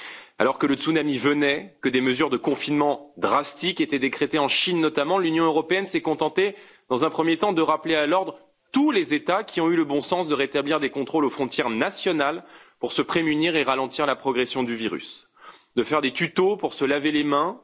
Alors que le tsunami arrivait, que des mesures de confinement drastiques étaient décrétées, en Chine notamment, l'Union européenne s'est contentée, dans un premier temps, de rappeler à l'ordre tous les États qui ont eu le bon sens de rétablir des contrôles aux frontières nationales pour se prémunir et ralentir la progression du virus, et de faire des tutos pour se laver les mains.